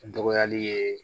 Dɔgɔyali ye